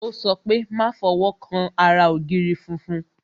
Yo sọ pé "Má fọwọ́ kan ara ògiri funfun"